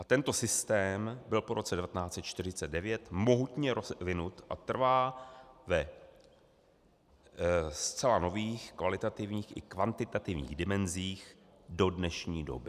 A tento systém byl po roce 1949 mohutně rozvinut a trvá ve zcela nových kvalitativních i kvantitativních dimenzích do dnešní doby.